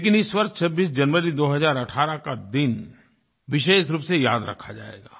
लेकिन इस वर्ष 26 जनवरी 2018 का दिन विशेष रूप से याद रखा जाएगा